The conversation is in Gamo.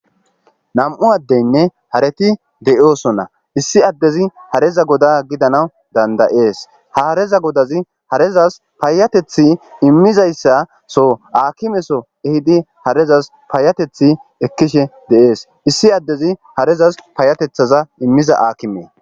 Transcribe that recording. Nam7u addeynne hareti de7oosonna issi addezi hareza goda gidanaw dandayees ha hareza godazi harezas paayatethi immizayssa so aakime so ehidi harezas paayatethi ekkishe deees issi addezi harezas paayatethaza immiza aakimee.